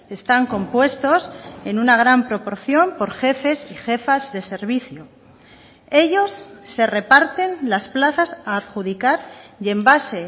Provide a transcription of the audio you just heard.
están compuestos en una gran proporción por jefes y jefas de servicio ellos se reparten las plazas a adjudicar y en base